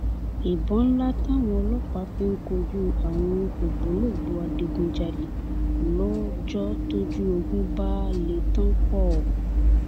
ìbọn ńlá táwọn ọlọpàá fi ń kojú àwọn ògbólógbòó adigunjalè lọjọ tójú ogun bá lè tán póò